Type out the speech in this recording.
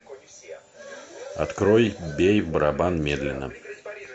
открой бей в барабан медленно